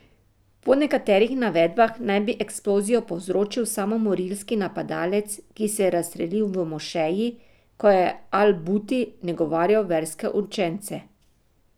Po nekaterih navedbah naj bi eksplozijo povzročil samomorilski napadalec, ki se je razstrelil v mošeji, ko je al Buti nagovarjal verske učence.